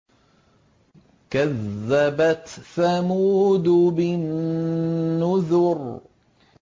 كَذَّبَتْ ثَمُودُ بِالنُّذُرِ